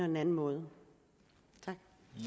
den anden måde tak